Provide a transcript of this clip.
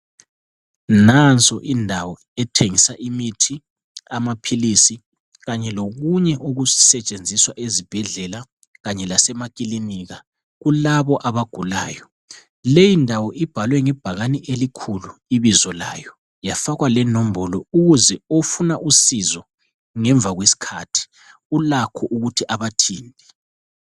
Nanso indawo ethengisa imithi, amaphilisi kanye lokunye okusetshenziswa ezibhedlela kanye lasemakilinika kulabo abagulayo. Leyi ndawo ibhalwe ngebhakane elikhulu ibizo layo yafakwa lenombolo ukuze ofuna usizo ngemva kwesikhathi ulakho ukuthi abathinte.